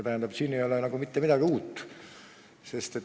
Tähendab, siin ei ole mitte midagi uut.